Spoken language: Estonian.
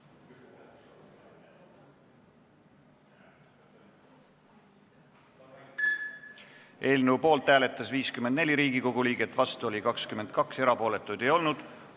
Hääletustulemused Eelnõu poolt hääletas 54 Riigikogu liiget, vastu oli 22, erapooletuid ei olnud.